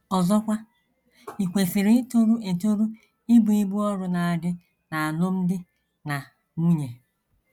Ọzọkwa, i kwesịrị itoru etoru ibu ibu ọrụ ndị na - adị n’alụmdi na nwunye.